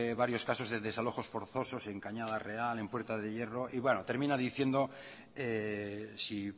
varios casos de desalojos forzosos en cañada real en puerta de hierro termina diciendo si